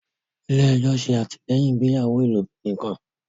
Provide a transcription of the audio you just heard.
ilé ejo se atilẹyin ìgbéyàwó ilobirin kán.